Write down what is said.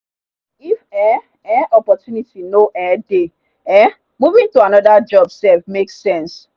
if um um opportunity no um dey um moving to another job sef make sense.